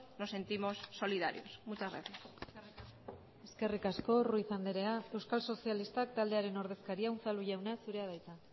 nos sentimos solidarios muchas gracias eskerrik asko ruiz andrea euskal sozialistak taldearen ordezkaria unzalu jauna zurea da hitza